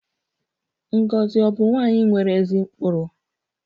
Ngozi ọ̀ bụ nwanyị nwere ezi ụkpụrụ?